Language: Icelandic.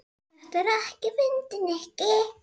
Þetta er ekkert fyndið, Nikki.